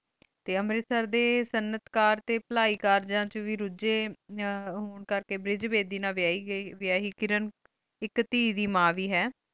T ਮੇਰਟ ਸੇਰ ਡੀ ਸੰਤ ਕਰ ਟੀ ਭਲਾਈ ਕਰ ਜਾਨ ਚੁਣ ਵੇ ਰੁਜੀ ਹਮਮ ਬੇਰੇਜ ਬੇਟੀ ਨਾਲ ਵੇਯਾਈ ਗੀ ਕਿਰਣ ਆਇਕ ਤੇ ਦੇ ਮਨ ਵੇ ਹੈਂ